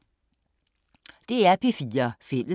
DR P4 Fælles